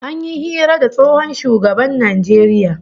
An yi hira da tsohon shugaban Najeriya